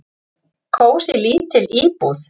"""Kósí, lítil íbúð."""